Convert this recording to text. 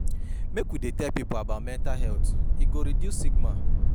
Make we dey tell pipo about mental health, e go reduce stigma.